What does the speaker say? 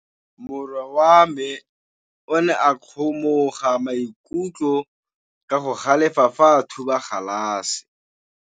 Morwa wa me o ne a kgomoga maikutlo ka go galefa fa a thuba galase.